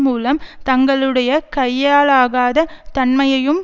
மூலம் தங்களுடைய கையாலாகாத தன்மையையும்